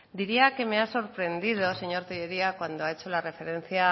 diría que me ha sorprendido señor tellería cuando ha hecho la referencia a